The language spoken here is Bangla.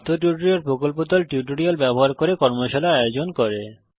কথ্য টিউটোরিয়াল প্রকল্প দল কথ্য টিউটোরিয়াল ব্যবহার করে কর্মশালার আয়োজন করে